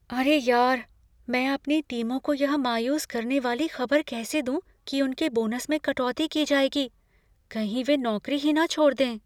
अरे यार... मैं अपनी टीमों को यह मायूस करने वाली खबर कैसे दूं कि उनके बोनस में कटौती की जाएगी? कहीं वे नौकरी ही न छोड़ दें।